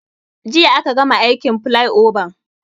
Jiya aka gama aikin filaioban